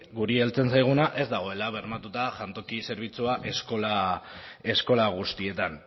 guri heltzen zaiguna ez dagoela bermatuta jantoki zerbitzua eskola guztietan